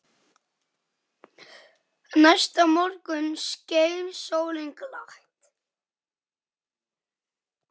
Næsta morgun skein sólin glatt.